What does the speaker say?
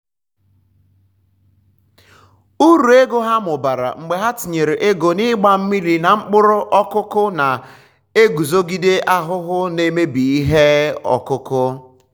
uruego ha mụbara mgbe ha tinyere ego n'igba mmiri na mkpụrụ ọkụkụ na-eguzogide ahụhụ n'emebi ihe ọkụkụ.